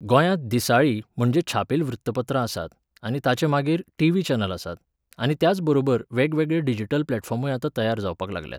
गोंयांत दिसाळीं, म्हणजे छापील वृत्तपत्रां आसात आनी ताचे नंतर मागीर टीव्ही चॅनल आसात, आनी त्याचबरोबर वेगवेगळे डिजिटल प्लॅटफॉर्मूय आतां तयार जावपाक लागल्यात